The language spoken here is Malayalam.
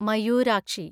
മയൂരാക്ഷി